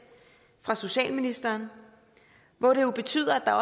fra socialministeren hvor det jo betyder at der